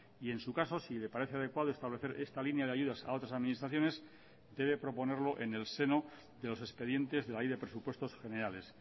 y en su caso si le parece adecuado establecer esta línea de ayudas a otras administraciones debe proponerlo en el seno de los expedientes de la ley de presupuestos generales